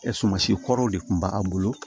sumansi kɔrɔw de kun b'a bolo